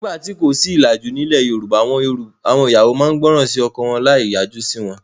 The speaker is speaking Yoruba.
Nígbà tí kò sí ìlàjú, nílẹ̀ Yorùbá àwọn ìyàwó máa ń gbọ́ràn sí ọkọ wọn láì yájú sí wọn.